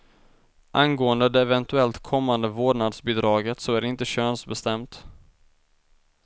Angående det eventuellt kommande vårdnadsbidraget så är det inte könsbestämt.